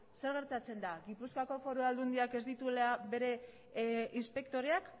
zer gertatzen da gipuzkoako foru aldundiak ez dituela bere inspektoreak